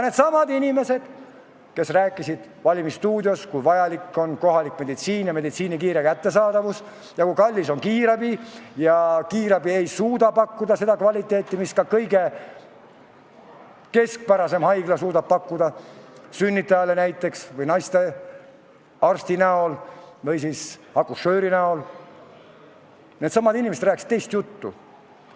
Needsamad inimesed, kes rääkisid "Valimisstuudios", kui vajalik on kohalik meditsiiniteenus ja meditsiiniabi kiire kättesaadavus ja kui kallis on kiirabi – kiirabi ei suuda pakkuda seda kvaliteeti, mida näiteks sünnitajale suudab pakkuda ka kõige keskpärasem haigla, kus on naistearst või akušöör –, rääkisid nüüd teist juttu.